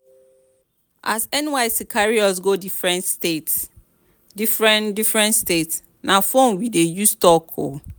as nysc carry us go differen differen state na fone we dey use talk o.